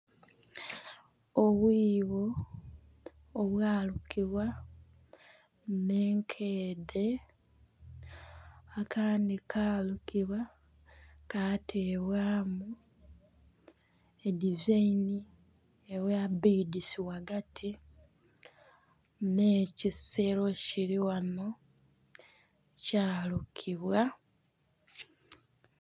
Obwibo obwa lulibwa ne'nkedhe akandi kalukibwa ka tebwamu edizaini edha bbidisi ghagati ne'kisero kiri ghano kya lukibwa.